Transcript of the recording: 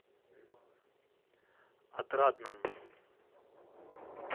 отрадном